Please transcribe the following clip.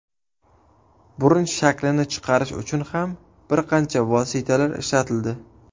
Burun shaklini chiqarish uchun ham bir qancha vositalar ishlatildi.